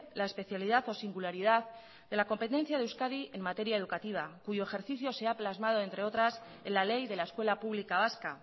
la especialidad o singularidad de la competencia de euskadi en materia educativa cuyo ejercicio se ha plasmado entre otras en la ley de la escuela pública vasca